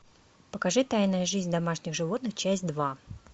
покажи тайная жизнь домашних животных часть два